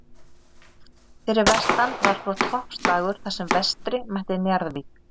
Fyrir vestan var svo toppslagur þar sem Vestri mætti Njarðvík.